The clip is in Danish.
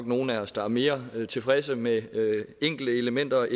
nogle af os der er mere tilfredse med enkelte elementer